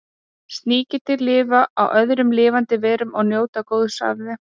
Sníkjudýr lifa á öðrum lifandi verum og njóta góðs af þeim.